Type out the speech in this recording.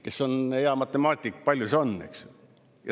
Kes on hea matemaatik, kui palju see on?